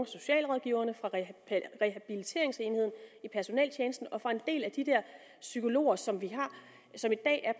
socialrådgiverne fra rehabiliteringsenheden i personeltjenesten og fra en del af de psykologer som som i dag er